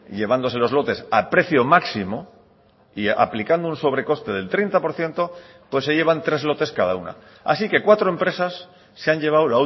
llevándose los lotes a precio máximo y aplicando un sobre coste del treinta por ciento pues se llevan tres lotes cada una así que cuatro empresas se han llevado